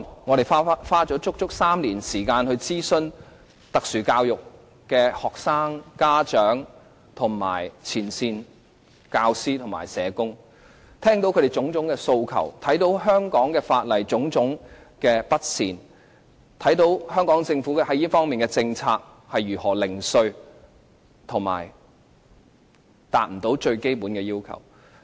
我們足足花了3年時間就這項條例草案諮詢有特殊教育需要的學生、家長和前線的教師和社工，聆聽他們的各種訴求，從而看到香港法例的各種不妥善之處，看到香港政府在這方面的政策是如何零碎和不達最基本要求。